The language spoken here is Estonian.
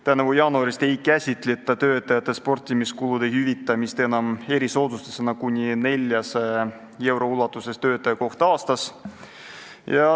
Tänavu jaanuarist ei käsitleta töötajate sportimiskulude hüvitamist enam erisoodustusena kuni 400 euro ulatuses töötaja kohta aastas.